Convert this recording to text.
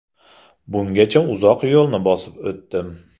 Bungacha uzoq yo‘lni bosib o‘tdim.